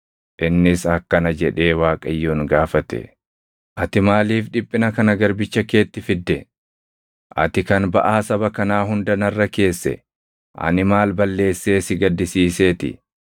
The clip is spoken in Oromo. Innis akkana jedhee Waaqayyoon gaafate; “Ati maaliif dhiphina kana garbicha keetti fidde? Ati kan baʼaa saba kanaa hunda narra keesse ani maal balleessee si gaddisiiseeti?